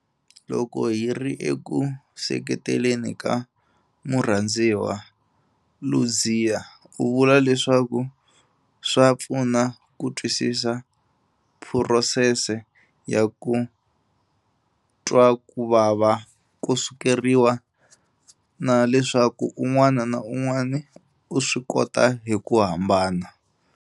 Loko hi ri eku seketeleni ka murhandziwa, Ludziya u vula leswaku swa pfuna ku twisisa phurosese ya ku twa ku vava ko sukeriwa na leswaku un'wana na un'wana u swi kota hi ku hambana.